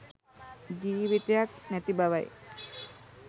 ජීවිතයක් නැති බවයි.